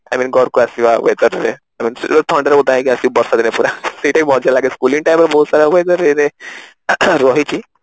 I mean ଘରକୁ ଆସିବା weather ରେ ଥଣ୍ଡା ରେ ଓଦା ହେଇକି ଆସିବୁ ବର୍ଷା ଦିନେ ପୁରା ସେଇଟା ହିଁ ମଜା ଲାଗେ schooling time ରେ ବହୁତ ସାରା weather ରେ ରହିଛି